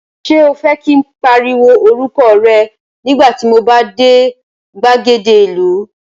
Ṣé o fẹ́ kí n pariwo orúkọ rẹ nígbà tí mo bá dé gbàgede ìlú?